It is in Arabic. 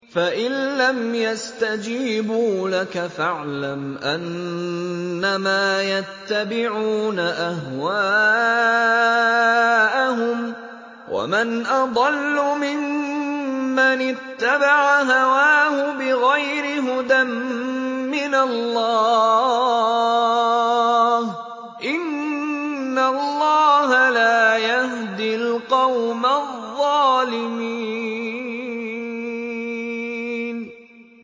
فَإِن لَّمْ يَسْتَجِيبُوا لَكَ فَاعْلَمْ أَنَّمَا يَتَّبِعُونَ أَهْوَاءَهُمْ ۚ وَمَنْ أَضَلُّ مِمَّنِ اتَّبَعَ هَوَاهُ بِغَيْرِ هُدًى مِّنَ اللَّهِ ۚ إِنَّ اللَّهَ لَا يَهْدِي الْقَوْمَ الظَّالِمِينَ